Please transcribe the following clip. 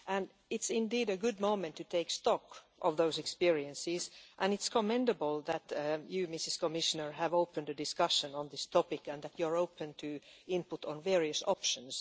This is indeed a good moment to take stock of those experiences and it is commendable that you, Madam Commissioner, have opened a discussion on this topic and that you are open to input on various options.